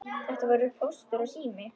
Þetta voru Póstur og Sími.